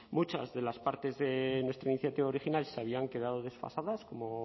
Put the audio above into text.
muchas de las partes de nuestra iniciativa original se habían quedado desfasadas como